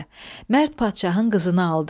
Mərd padşahın qızını aldı.